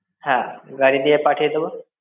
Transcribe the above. হ্যাঁ, গাড়ি দিয়ে পাঠিয়ে দেবো।